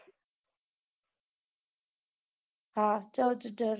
હા ચૌદ ઝરણા છે